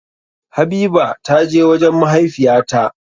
Habiba ta je wajen mahaifiya ta.